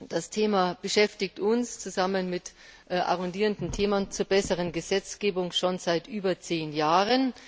Das Thema beschäftigt uns zusammen mit arrondierenden Themen zur besseren Gesetzgebung schon seit über zehn Jahren.